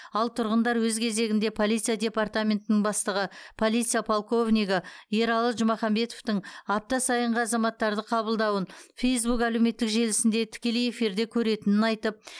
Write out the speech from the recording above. ал тұрғындар өз кезегінде полиция департаментінің бастығы полиция полковнигі ералы жұмаханбетовтың апта сайынғы азаматтарды қабылдауын фейсбук әлеуметтік желісінде тікелей эфирде көретінін айтып